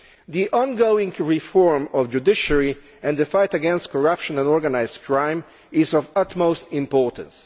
The ongoing reform of the judiciary and the fight against corruption and organised crime are of the utmost importance.